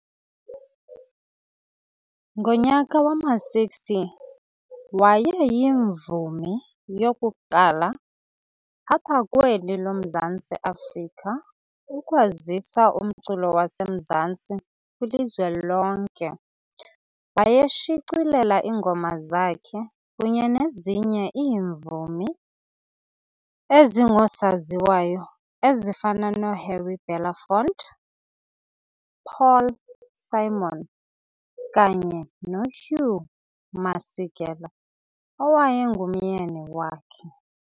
Ngonyaka wama-60 waye yivumi yokuqala apha kweli loMzantsi Afrika ukwazisa umculo waseMzantsi kwilizwe lonke. Wayeshicilela iingoma zakhe kunye nezinye iimvumi ezingosaziwayo ezifana noHarry Belafonte, Paul Simon, kanye noHugh Masekela owayengumyeni wakhe.